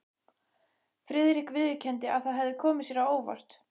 Friðrik viðurkenndi, að það hefði komið sér á óvart.